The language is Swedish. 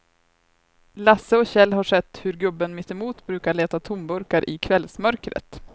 Lasse och Kjell har sett hur gubben mittemot brukar leta tomburkar i kvällsmörkret.